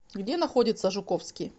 где находится жуковский